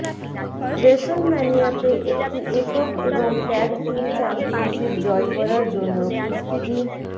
রেসলম্যানিয়াতে একটি একক এবং ট্যাগ টিম চ্যাম্পিয়নশিপ জয় করার জন্য কুস্তিগীর